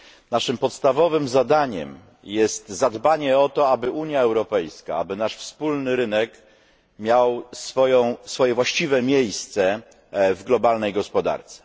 Naszym podstawowym zadaniem jest zadbanie o to, aby Unia Europejska, aby nasz wspólny rynek miał swoje właściwe miejsce w globalnej gospodarce.